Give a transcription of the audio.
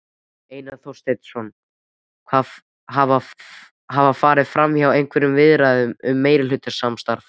Einar Þorsteinsson: Hafa farið fram einhverjar viðræður um meirihlutasamstarf?